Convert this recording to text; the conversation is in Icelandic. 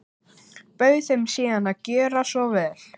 Bauð þeim síðan að gjöra svo vel.